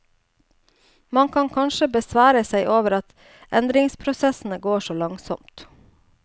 Man kan kanskje besvære seg over at endringsprosessene går så langsomt.